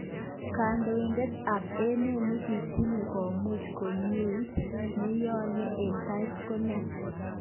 Kondoidet ab emet nekitinye komuch komieit, nenyone eng tai kenoene ?